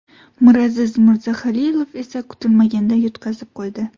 Miraziz Mirzahalilov esa kutilmaganda yutqazib qo‘ydi.